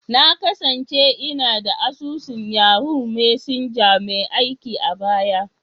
Na kasance ina da asusun Yahoo Messenger mai aiki a baya.